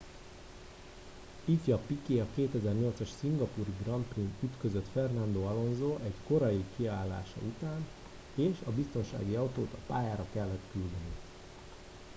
ifj piquet a 2008 as szingapúri grand prix n ütközött fernando alonso egy korai kiállása után és a biztonsági autót a pályára kellett küldeni